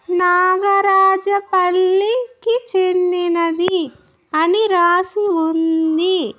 నాగరాజ పల్లి కి చెందినది అని రాసి ఉంది.